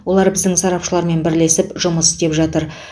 олар біздің сарапшылармен бірлесіп жұмыс істеп жатыр